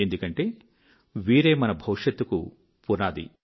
ఎందుకంటే వీరే మన భవిష్యత్తుకు పునాది